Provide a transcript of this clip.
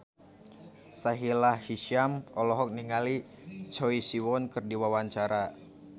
Sahila Hisyam olohok ningali Choi Siwon keur diwawancara